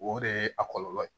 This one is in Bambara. O de ye a kɔlɔlɔ ye